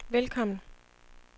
velkommen